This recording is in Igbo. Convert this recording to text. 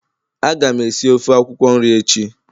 Agam esi ofe akwukwo nri echi